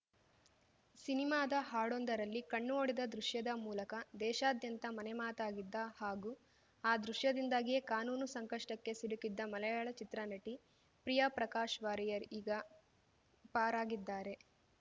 ಸಿನಿಮಾದ ಹಾಡೊಂದರದಲ್ಲಿ ಕಣ್ಣು ಹೊಡೆದ ದೃಶ್ಯದ ಮೂಲಕ ದೇಶಾದ್ಯಂತ ಮನೆಮಾತಾಗಿದ್ದ ಹಾಗೂ ಆ ದೃಶ್ಯದಿಂದಾಗಿಯೇ ಕಾನೂನು ಸಂಕಷ್ಟಕ್ಕೆ ಸಿಲುಕಿದ್ದ ಮಲಯಾಳ ಚಿತ್ರನಟಿ ಪ್ರಿಯಾ ಪ್ರಕಾಶ್‌ ವಾರಿಯರ್‌ ಈಗ ಪಾರಾಗಿದ್ದಾರೆ